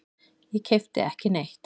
Ég keypti ekki neitt.